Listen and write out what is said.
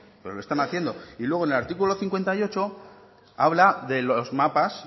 pero lo están haciendo y luego en el artículo cincuenta y ocho habla de los mapas